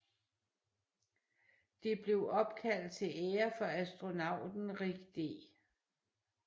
Det blev opkaldt til ære for astronauten Rick D